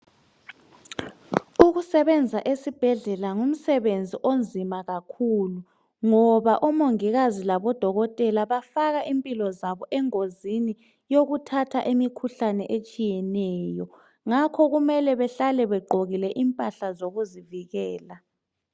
Ukusebenza esibhedlela ngumsebenzi onzima kakhulu ngoba omongikazi labodokotela bafaka impilo zabo engozini yokuthatha imikhuhlane etshiyeneyo ngakho kumele behlale begqokile impahla zokuzivikela.